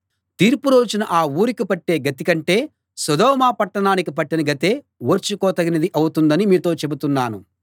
తీర్పు రోజున ఆ ఊరికి పట్టే గతి కంటే సొదొమ పట్టణానికి పట్టిన గతే ఓర్చుకోదగినది అవుతుందని మీతో చెబుతున్నాను